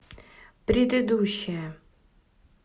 предыдущая